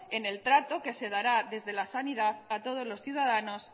en el trato que se dará desde la sanidad a todos los ciudadanos